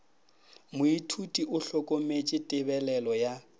moithuti o hlokometše tebelelo ya